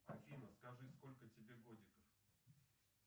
афина скажи сколько тебе годиков